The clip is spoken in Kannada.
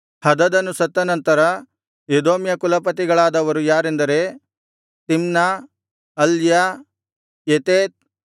ಹದದನು ಸತ್ತ ನಂತರ ಎದೋಮ್ಯ ಕುಲಪತಿಗಳಾದವರು ಯಾರೆಂದರೆ ತಿಮ್ನ ಅಲ್ಯ ಯೆತೇತ್